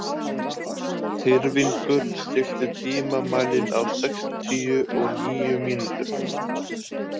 Tyrfingur, stilltu tímamælinn á sextíu og níu mínútur.